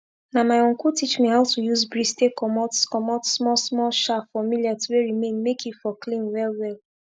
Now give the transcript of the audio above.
na my uncle teach me how to use breeze take comot comot small small chaff for millet wey remain make e for clean well well